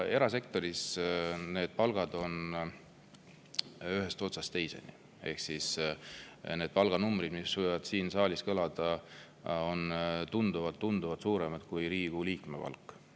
Erasektoris on palgad ühest otsast teiseni ehk need palganumbrid, mis võiksid siin saalis kõlada, on tunduvalt-tunduvalt suuremad kui Riigikogu liikme palk.